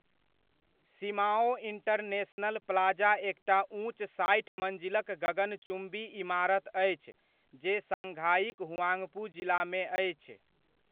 Shimao International Plaza एकटा ऊँच साठि मञ्जिलक गगनचुम्बी इमारत अछि जे शाङ्घाइक हुआङपू जिलामे अछि।